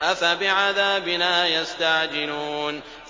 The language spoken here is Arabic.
أَفَبِعَذَابِنَا يَسْتَعْجِلُونَ